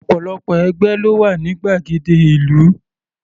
Ọ̀pọ̀lọpọ̀ ẹgbẹ́ ló wà ní gbàgede ìlú.